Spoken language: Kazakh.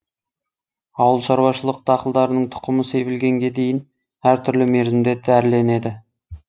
ауыл шаруашылық дақылдарының тұқымы себілгенге дейін әр түрлі мерзімде дәріленеді